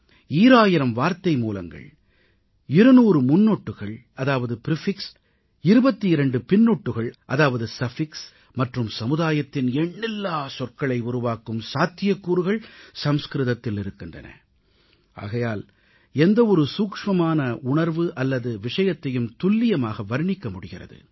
ஈராயிரம் வார்த்தைமூலங்கள் 200 முன் சேர்க்கைகள் அதாவது பிரிஃபிக்ஸ் 22 பிற்சேர்க்கைகள் அதாவது சஃபிக்ஸ் மற்றும் சமுதாயத்தின் எண்ணில்லா சொற்களை உருவாக்கும் சாத்தியக்கூறுகள் சமஸ்கிருதத்தில் இருக்கின்றன ஆகையால் எந்த ஒரு சூட்சமமான உணர்வு அல்லது விஷயத்தையும் துல்லியமாக வர்ணிக்க முடிகிறது